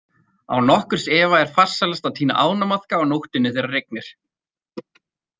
Án nokkurs efa er farsælast að tína ánamaðka á nóttunni þegar rignir.